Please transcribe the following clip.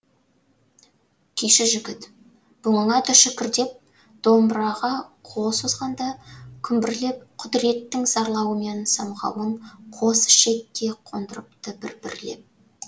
күйші жігіт бұныңа да шүкір деп домбыраға қол созғанда күмбірлеп құдіреттің зарлауы мен самғауын қос ішекке қондырыпты бір бірлеп